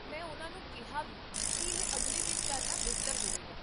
ਮੈਂ ਉਨ੍ਹਾਂ ਨੂੰ ਕਿਹਾ ਵੀ ਕੀ ਇਹ ਅਗਲੇ ਦਿਨ ਕਰਨਾ ਬਿਹਤਰ ਹੋਵੇਗਾ